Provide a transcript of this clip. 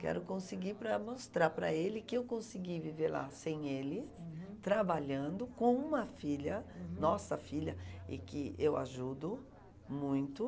Quero conseguir para mostrar para ele que eu consegui viver lá sem ele, trabalhando com uma filha, nossa filha, e que eu ajudo muito.